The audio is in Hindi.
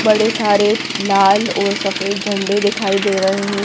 बड़े सारे लाल और सफेद झंडे दिखाई दे रहे हैं।